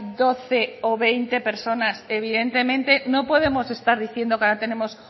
doce o veinte personas evidentemente no podemos estar diciendo que ahora tenemos